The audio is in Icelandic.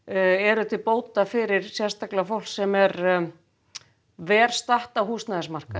eru til bóta fyrir fólk sem er verr statt á húsnæðismarkaði